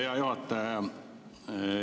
Hea juhataja!